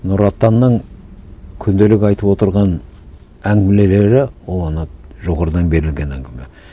нұр отанның күнделік айтып отырған әңгімелері ол ана жоғарыдан берілген әңгіме